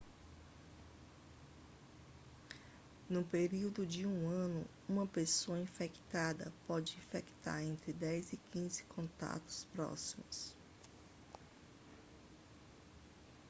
no período de um ano uma pessoa infectada pode infectar entre 10 e 15 contatos próximos